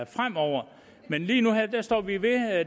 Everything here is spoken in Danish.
fremover men lige nu og her står vi ved